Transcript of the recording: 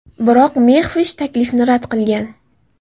Biroq Mexvish taklifni rad qilgan.